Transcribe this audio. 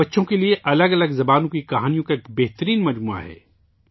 یہ بچوں کے لیے الگ الگ زبانوں کی کہانیوں کا ایک بہترین انتخاب ہے